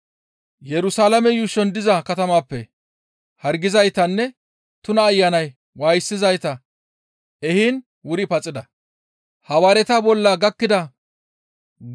Yerusalaame yuushon diza katamatappe hargizaytanne tuna ayanay waayisizayta ehiin wuri paxida.